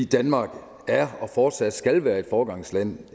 danmark er og fortsat skal være et foregangsland